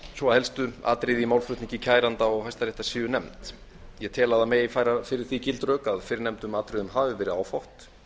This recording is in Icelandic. svo helstu atriði í málflutningi kæranda og hæstaréttar séu nefnd ég tel að það megi færa fyrir því gild rök að fyrrnefndum atriðum hafi verið áfátt